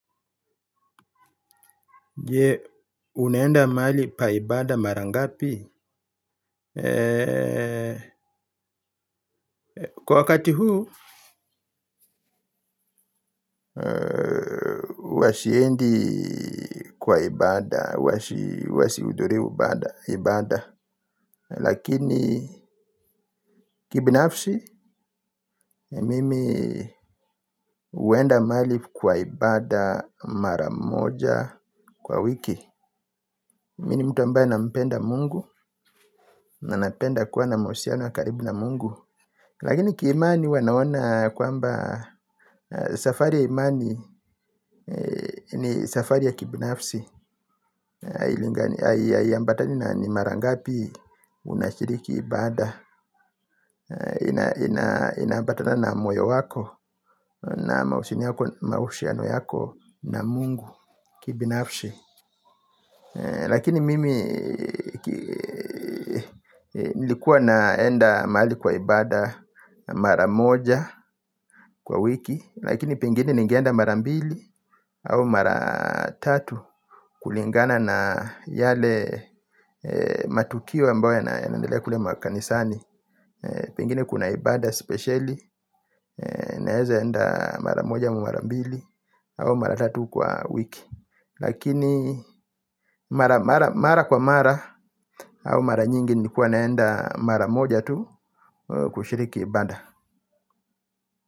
Je unaenda mahali pa ibaada mara ngapi kwa wakati huu huwa siendi kwa ibaada huwa sihudhurii ibaada lakini kibinafsi mimi huenda mahali kwa ibaada mara moja kwa wiki mimi ni mtu ambaye nampenda mungu na napenda kuwa na mahusiano ya karibu na mungu. Lakini ki imani huwa naona kwamba safari ya imani ni safari ya kibinafsi haiambatani na ni mara ngapi unashiriki ibaada. Inaambatana na moyo wako na mahusiano yako na mungu kibinafsi. Lakini mimi nilikuwa naenda mahali kwa ibaada mara moja kwa wiki lakini pengine ninge enda mara mbili au mara tatu kulingana na yale matukio ambao yanaendelea kule makanisani pengine kuna ibaada spesheli naeza enda mara moja ama mara mbili au maratatu kwa wiki. Lakini mara kwa mara au mara nyingi nilikua naenda mara moja tu kushiriki ibaada.